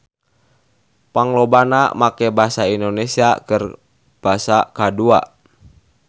Panglobana make basa Indonesia keur basa kadua